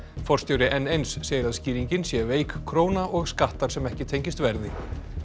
forstjóri n eins segir að skýringin sé veik króna og skattar sem ekki tengist verði